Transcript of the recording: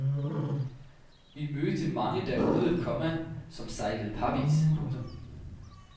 Vi mødte mange derude, komma som sejlede parvis. punktum